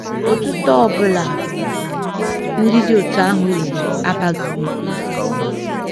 Otuto ọ bụla ndị dị otú ahụ nyere abaghị uru.